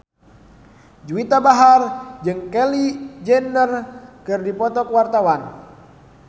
Juwita Bahar jeung Kylie Jenner keur dipoto ku wartawan